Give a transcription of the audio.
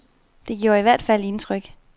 Det gjorde i hvert fald indtryk.